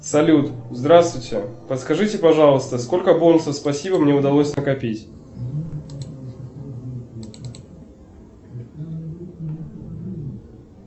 салют здравствуйте подскажите пожалуйста сколько бонусов спасибо мне удалось накопить